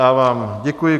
Já vám děkuji.